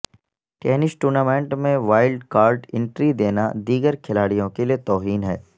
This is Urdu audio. ٹینس ٹورنامنٹ میں وائلڈ کارڈ انٹری دینا دیگر کھلاڑیوں کے لئے توہین ہے